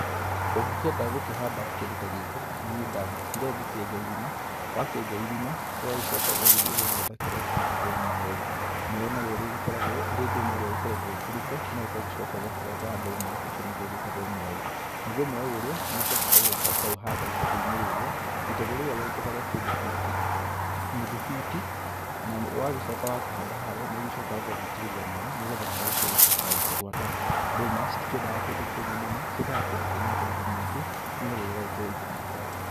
Ũngĩkenda gũkĩhanda kĩndũ ta gĩkĩ, niĩ ndagĩũkire ngĩkĩenja irima. Wakĩenja irima, ũgagĩcoka ũgagĩthiĩ ũgagĩetha kĩrĩa gĩgĩtagwo mweũ. Mweũ narĩo rĩrĩkoragwo ĩrĩ ndũma ĩrĩa ĩkoretwo ĩkũrĩte, no ũgagĩcoka ũgakĩrenga ndũma; ũcio nĩguo ũgĩtagwo mweũ. Naguo mweũ ũrĩa nĩũcokaga ũgoka ũkaũhanda itegũ-inĩ rĩrĩa. Itegũ rĩrĩa wenjaga rĩa kĩndũ biti nuthu biti, na wagĩcoka wakĩhanda harĩa, nĩũgĩcokaga ũgagĩitĩrĩria maaĩ, nĩ getha mweũ ũcio ũgĩtwĩke wa gũkĩgwata. Ndũma citikĩeandaga kũndũ kũmũ mũno, ciendaga kũndũ kwĩna ũigũ mũingĩ, nĩ getha ĩgagĩkorwo igĩgĩkũra.